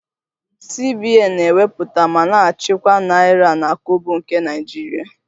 CBN na-ewepụta ma na-achịkwa naira na kobo nke Naijiria